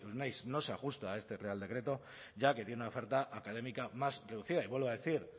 no se ajusta a este real decreto ya que tiene una oferta académica más reducida y vuelvo a decir